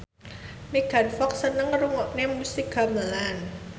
Megan Fox seneng ngrungokne musik gamelan